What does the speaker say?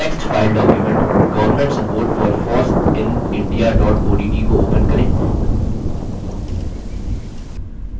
text file document governmentsupportforfossinindiaodt को open करें